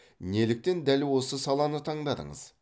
неліктен дәл осы саланы таңдадыңыз